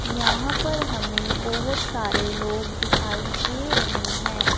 यहां पर हमें बहुत सारे लोग दिखाई दे रहे हैं।